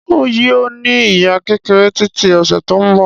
Ń yìí ó ní ìyá kékeré tiiti ọ̀sẹ̀ tòun bọ̀